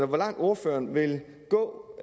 hvor langt ordføreren vil gå